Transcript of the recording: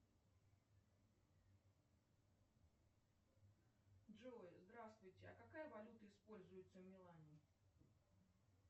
джой здравствуйте а какая валюта используется в милане